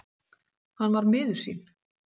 Hann var miður sín.